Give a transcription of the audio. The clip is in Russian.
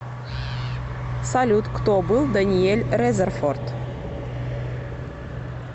салют кто был даниэль резерфорд